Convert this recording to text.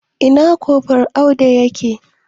Ina kofral Audu ya ke?